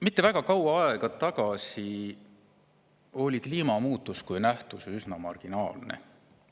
Mitte väga kaua aega tagasi oli kliimamuutus kui nähtus üsna marginaalne.